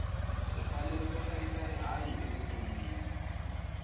hi fanele ku hlayisa rihanyu evutonwini